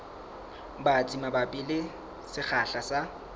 batsi mabapi le sekgahla sa